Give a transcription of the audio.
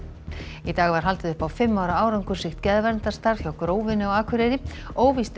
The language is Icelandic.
í dag var haldið upp á fimm ára árangursríkt geðverndarstarf hjá Grófinni á Akureyri óvíst er